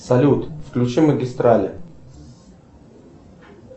салют включи магистрали